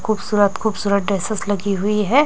खूबसूरत खूबसूरत ड्रेसेस लगी हुई है।